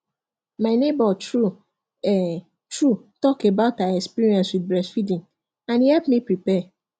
my neighbor true um true talk about her experience with breast feeding and e help me prepare